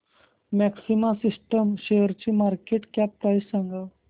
maxima systems शेअरची market cap price सांगा